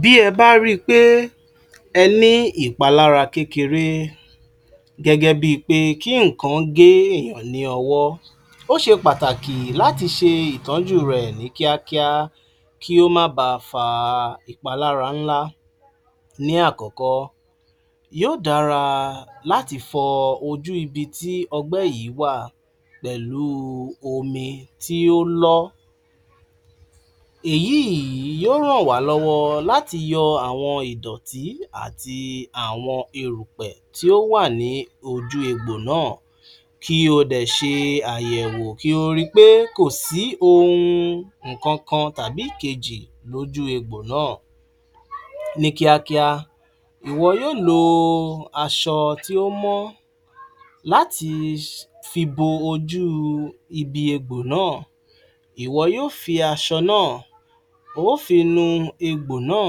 Bí ẹ bá rí i pé ẹ ní ìpalára kékeré gẹ́gẹ́ bí i pé kí nǹkan gé èèyàn ní ọwọ́, ó ṣe pàtàkì láti ṣe ìtọ́jú rẹ̀ ní kíákíá, kí ó má ba fa ìpalára ńlá, Ní àkọ́kọ́ yóò dára láti fọ ojú ibi tí ọgbẹ́ yìí wà pẹ̀lú omi tí ó lọ́, èyí yìí yóò ràn wá lọ́wọ́ láti yọ àwọn ìdòtí àti àwọn erùpẹ̀ tí ó wà ní ojú egbò náà. Kí ó dẹ̀ ṣe àyẹ̀wò kí ó rí i pé kò sí ohun nkànkan tàbí ìkejì lòjù egbò náà. Ní kíákíá, ìwọ yóò lo aṣọ tí ó mọ́ láti fi bo ojú ibi egbò náà, ìwọ yóò fi aṣọ náà o ó fi nu egbò náà,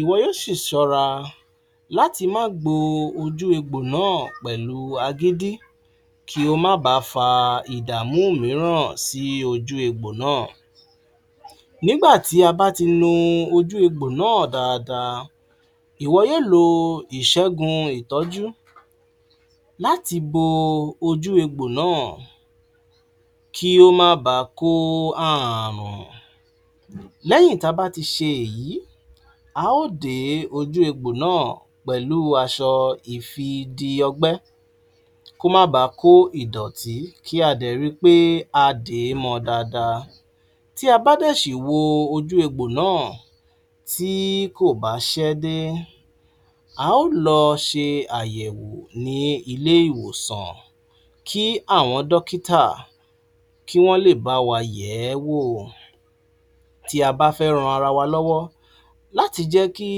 ìwọ yóò sì ṣọ́ra láti má gbo ojú egbò náà pẹ̀lú agídí, kí ó máa ba fa ìdàmú mìíràn sí ojú egbò náà, nígbà tí a bá ti nu ojú egbò náà dáadáa, ìwọ yóò lo ìṣẹ́gun ìtọ́jú láti bo ojú egbò náà, kí ó má ba kó ààrùn. Lẹ́yìn tí a bá ti ṣe èyí, a ó de ojú egbò náà pẹ̀lú aṣọ ìfidi-ọgbẹ́ kó máa ba kó ìdọ̀tí, kí a dẹ̀ ri pé a dè é mọ dáadáa, tí a bá dè sì wo ojú egbò náà, tí kò bá ṣẹ́ dé, a ó lọ ṣe àyèwò ní ilé ìwòsàn kí àwọn dọ́kítà kí wọ́n lè bá wa yẹ̀ ẹ́ wò, tí a bá fẹ́ ran ara wa lọ́wọ́ láti jẹ́ kí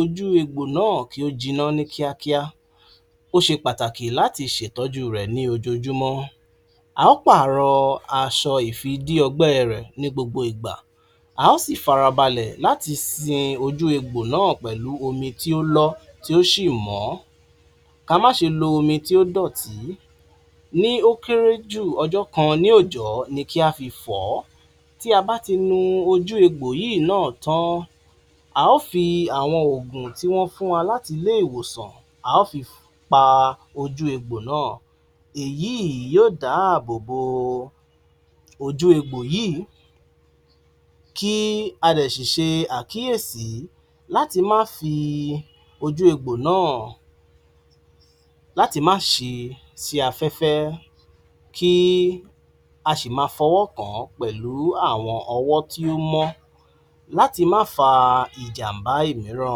ojú egbò náà kí ó jiná ní kíákíá, ó ṣe pàtàkì láti ṣe ìtọ́jú rẹ̀ ní ojoojumọ́, a ó pààrọ̀ aṣọ ìfidi-ọgbẹ́ rẹ̀ ní gbogbo ìgbà, a ó sì farabalẹ̀ láti sin ojú egbò náà pẹ̀lú omi tí ó lọ́, tí ó sì mọ́, káa má ṣe lo omi tí ó dọ̀tí, ní ó kéré jù, ọjọ́ kan ní òòjò ni kí á fi fọ̀ ọ́, tí a bá ti nu ojú egbò yìí náà tán, a ó fi àwọn oògùn tí wọ́n fún wa láti ilé ìwòsàn a ó fi pa ojú egbò náà, èyí yóò dá àbò bo ojú egbò yìí, kí a dẹ̀ sì ṣe àkíyèsí láti má fi ojú egbò náà, láti má ṣí i sí afẹ́fẹ́, kí a ṣì máa fọ́wọ́ kàn án pẹ̀lú àwọn ọwọ́ tí ó mọ́ láti má fa ìjàm̀bá mìírà.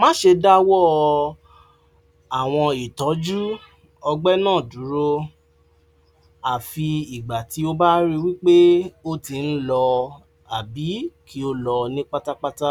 Má ṣe dáwó àwọn ìtọ́jú ọgbẹ́ náá dúró, àfi ìgbà tí o bá rí i wípé ó ti ń lọ àbí kí ó lọ ní pátápátá